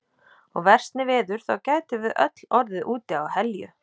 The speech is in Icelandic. Og versni veður þá gætum við öll orðið úti á Helju.